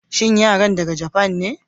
shin yaran ka daga Japan ne?